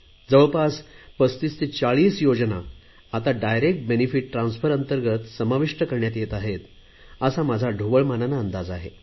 जवळपास 35 ते 40 योजना आता डायरेक्ट बेनिफीट ट्रान्सफर अंतर्गत समाविष्ट करण्यात येत आहेत असा माझा ढोबळ मनाने अंदाज आहे